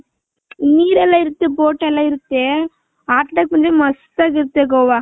ನಿರ್ ಎಲ್ಲಾ ಇರುತ್ತೆ ಬೋಟ್ ಎಲ್ಲಾ ಇರುತ್ತೆ ಆಟಡಕೆ ಮಸ್ತ್ ಅಗ್ ಇರುತ್ತೆ ಗೋವ .